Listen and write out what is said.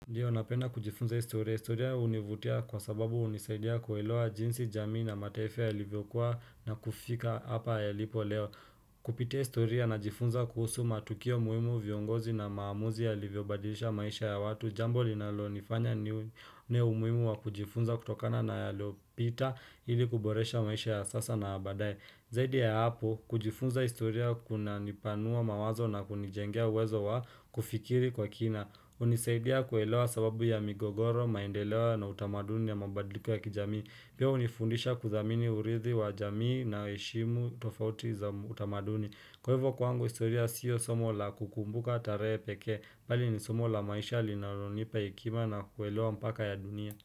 Ndio, napenda kujifunza historia. Historia hunivutia kwa sababu hunisaidia kuelewa jinsi jamii na mataifa yalivyokuwa na kufika hapa yalipo leo. Kupitia historia najifunza kuhusu matukio muhimu viongozi na maamuzi yalivyobadilisha maisha ya watu. Jambo linalo nifanya ni umuhimu wa kujifunza kutokana na yaliyopita ili kuboresha maisha ya sasa na ya baadaye. Zaidi ya hapo, kujifunza historia kunanipanua mawazo na kunijengea uwezo wa kufikiri kwa kina. Hunisaidia kuelewa sababu ya migogoro, maendeleo na utamaduni na mabadliko ya kijamii. Pia hunifundisha kudhamini urithi wa jamii na heshimu tofauti za utamaduni. Kwa hivyo kwangu historia sio somo la kukumbuka tarehe peke, bali ni somo la maisha linalonipa hekima na kuelewa mpaka ya dunia.